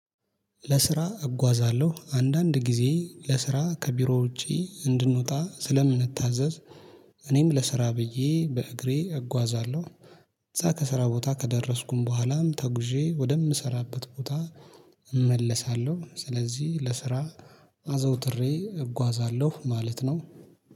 ለስራ እጓዛለሁ አንዳንድ ጊዜ ለስራ ከቢሮ ውጪ እንድንወጣ ስለምንታዘዝ እኔም ለስራ ብዬ በእግሬ እጓዛለሁ። እዛ ከስራ ቦታ ከደረስኩኝ በኋላም ተጉዤ ወደምሰራበት ቦታ እመለሳለሁ። ስለዚህ ለስራ አዘውትሬ እጓዛለሁ ማለት ነው